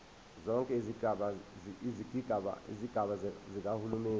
zonke izigaba zikahulumeni